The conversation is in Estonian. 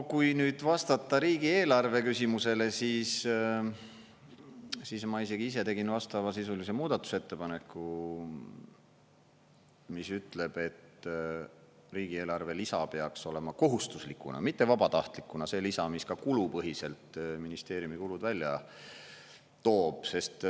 Kui nüüd vastata riigieelarve küsimusele, siis ma isegi ise tegin vastavasisulise muudatusettepaneku, mis ütleb, et riigieelarve lisa peaks olema kohustuslikuna, mitte vabatahtlikuna, see lisa, mis ka kulupõhiselt ministeeriumi kulud välja toob.